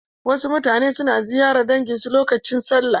Wasu mutane suna na ziyarar dangin su a lokacin sallah.